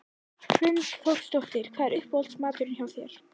Hrund Þórsdóttir: Hvað er uppáhalds maturinn hjá þér?